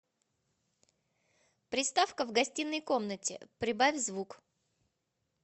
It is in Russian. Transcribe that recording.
приставка в гостиной комнате прибавь звук